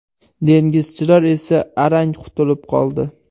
Dengizchilar esa arang qutulib qoldi.